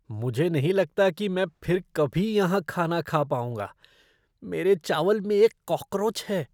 मुझे नहीं लगता कि मैं फिर कभी यहाँ खाना खा पाउंगा, मेरे चावल में एक कॉकरोच है।